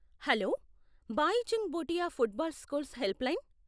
Hello , Bhaichung Bhutia football schools help line.